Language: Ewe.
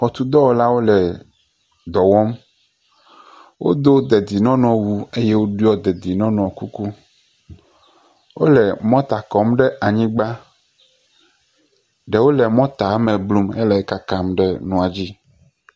Xɔtudɔwɔlawo le dɔ wɔm. Wodo dedie nɔnɔ wu. Woɖɔe dedie nɔnɔ kuku. Wole mɔta me blum hele kakam ɖe mɔadzi.